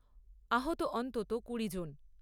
আহত অন্তত কুড়ি জন।